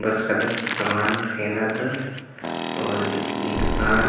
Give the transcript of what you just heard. बरचका दस समान खेदा दस अऊर ई दुकान--